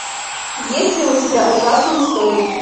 есть ли у тебя ужасные истории